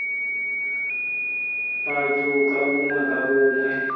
batho ka bongwe ka bongwe